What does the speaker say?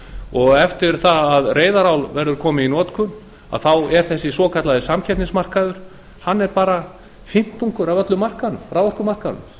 og eftir að reyðarál verður komið í notkun er þessi svokallaði samkeppnismarkaður bara fimmtungur af öllum raforkumarkaðnum